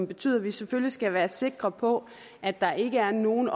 betyder at vi selvfølgelig skal være sikre på at der ikke er nogen af